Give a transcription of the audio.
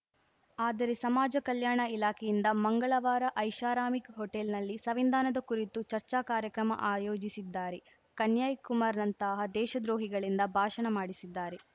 ಆದರೆ ಸಮಾಜ ಕಲ್ಯಾಣ ಇಲಾಖೆಯಿಂದ ಮಂಗಳವಾರ ಐಷಾರಾಮಿ ಹೋಟೆಲ್‌ನಲ್ಲಿ ಸಂವಿಧಾನದ ಕುರಿತು ಚರ್ಚಾ ಕಾರ್ಯಕ್ರಮ ಆಯೋಜಿಸಿದ್ದಾರೆ ಕನ್ಯಯ್ ಕುಮಾರ್‌ನಂತಹ ದೇಶದ್ರೋಹಿಗಳಿಂದ ಭಾಷಣ ಮಾಡಿಸಿದ್ದಾರೆ